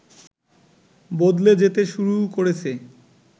বদলে যেতে শুরু করেছে